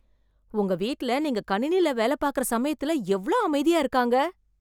உங்க வீட்ல நீங்க கணினில வேல பாக்கிற சமயத்துல எவ்ளோ அமைதியா இருக்காங்க.